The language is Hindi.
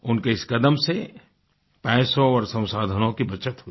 उनके इस कदम से पैसों और संसाधनों की बचत हुई